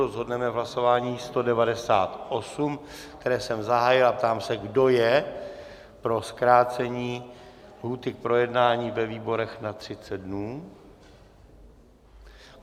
Rozhodneme v hlasování 198, které jsem zahájil, a ptám se, kdo je pro zkrácení lhůty k projednání ve výboru na 30 dnů?